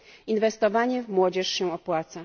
Inwestowanie w młodzież się opłaca.